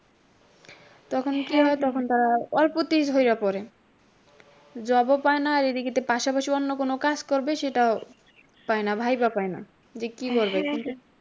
তখন কি হয় তখন তারা অল্পতেই ঝইরা পরে। job ও পায়না এদিকে পাশাপাশি অন্য কোনও কাজ করবে সেটাও পায়না ভাইবা পায়না যে কি করবে।